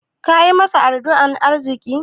Kayi masa addu'an arziƙi?